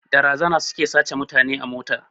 Da razana suke sace wa mutane mota